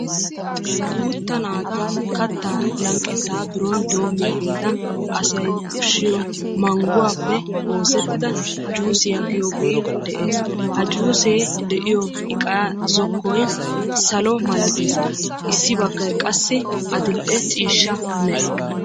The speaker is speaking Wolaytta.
Guutta naata asay kattaa mizzanawu issisan shiishshi wotido mal'iya chokkooloote sa'an bayzziyo sohuwan kummi uttis.